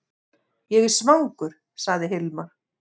Ég er svangur, sagði Hilmar.